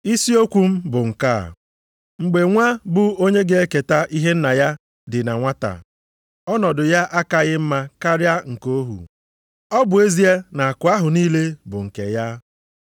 Isiokwu m bụ nke a, mgbe nwa bụ onye ga-eketa ihe nna ya ka dị na nwata, ọnọdụ ya akaghị mma karịa nke ohu, ọ bụ ezie na akụ ahụ niile bụ nke ya.